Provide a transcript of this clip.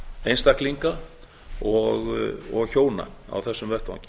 einstaklinga og hjóna á þessum vettvangi